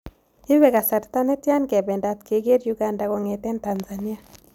Iipee kasarta netian kebendat kegerr uganda kong'eten tanzania